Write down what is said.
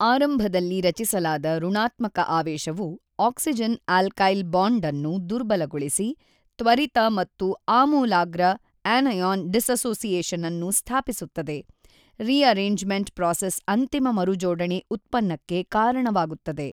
ಆರಂಭದಲ್ಲಿ ರಚಿಸಲಾದ ಋಣಾತ್ಮಕ ಆವೇಶವು ಆಕ್ಸಿಜನ್ ಆಲ್ಕೈಲ್ ಬಾಂಡ್ ಅನ್ನು ದುರ್ಬಲಗೊಳಿಸಿ ತ್ವರಿತ ಮತ್ತು ಆಮೂಲಾಗ್ರ ಅನಿಯಾನ್ ಡಿಸ್ಸೊಸಿಯೇಶನ್ ಅನ್ನು ಸ್ಥಾಪಿಸುತ್ತದೆ ರೀಅರೇಂಜ್ಮೆಂಟ್ ಪ್ರಾಸೆಸ್ ಅಂತಿಮ ಮರುಜೋಡಣೆ ಉತ್ಪನ್ನಕ್ಕೆ ಕಾರಣವಾಗುತ್ತದೆ.